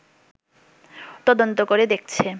তদন্ত করে দেখছে